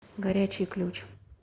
горячий ключ